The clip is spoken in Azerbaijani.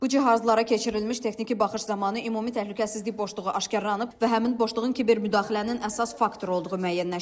Bu cihazlara keçirilmiş texniki baxış zamanı ümumi təhlükəsizlik boşluğu aşkarlanıb və həmin boşluğun kiber müdaxilənin əsas faktoru olduğu müəyyənləşdirilib.